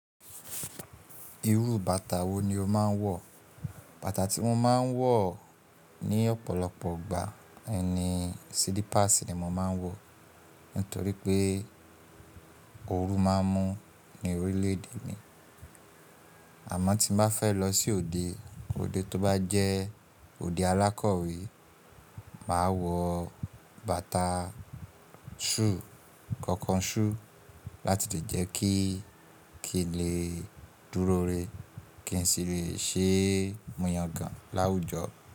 Irú bàtà wo ni o máa ń wọ̀? Bàtà tí mo máa ń wọ̀ ní ọ̀pọ̀lọpọ̀ ìgbà ni slipers ni mò ń máa ń wọ̀ nítorí pé ooru máa ń mú ní orílẹ̀ èdè mi. Àmọ́ tí mo bá fẹ́ lọ sí òde, òde tó bá jẹ́ òde alákọ̀wé, màá wọ bàtà shoe, kọ̀ọ̀kan shoe láti lè jẹ́ kí kì í lè dúró rẹ, kí n sì lè ṣe mú yangàn láwùjọ.